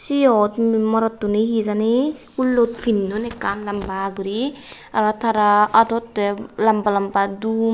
seyot umm morottuni he jani hullot pinnon ekkan lamba gori aro tara adot de lamba lamba dun.